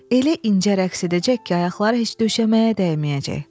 Elə incə rəqs edəcək ki, ayaqları heç döşəməyə dəyməyəcək.